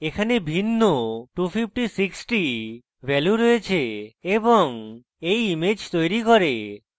এখানে ভিন্ন 256 the value রয়েছে এবং এই image তৈরী করে